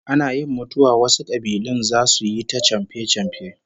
Ana yin mutuwa wasu kabilun zasu yi ta chamfe-chamfe